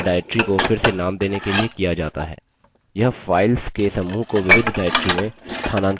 यह files के समूह को विविध directory में स्थानांतरित भी करती है